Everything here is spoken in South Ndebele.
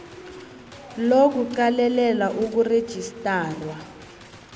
lo kuqalelela ukurejistarwa